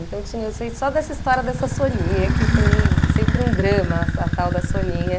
Então tinha, eu sei só dessa história dessa Soninha, que foi sempre um drama essa tal da Soninha.